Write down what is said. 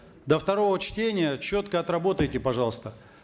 до второго чтения четко отработайте пожалуйста